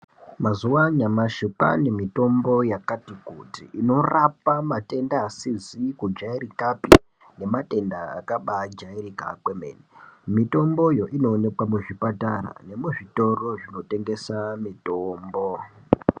Mazuva anyamashi kwavane mutombo yakati kuti mitombo inoropa matenda asizi kujairikapi nematenda akaba jairika kwemene mitombo iyo inooneka kuzvipatara neku zvitoro zvinotengesa mitombo .